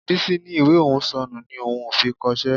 Bísí ní ìwé òun ò sọnù ni òun ò fi kọṣẹ́